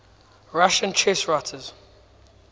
russian chess writers